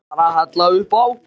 Ég var að hella upp á.